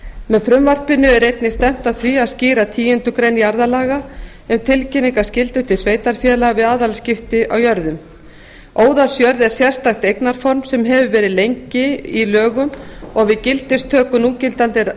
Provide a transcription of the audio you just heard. með frumvarpinu er einnig stefnt að því að skýra tíundu grein jarðalaga um tilkynningarskyldu til sveitarfélaga við aðilaskipti að jörðum óðalsjörð er sérstakt eignarform sem hefur lengi verið í lögum og við gildistöku núgildandi jarðalaga